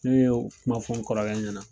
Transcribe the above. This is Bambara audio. Ne ye u kuma fɔ n kɔrɔkɛ ɲɛna.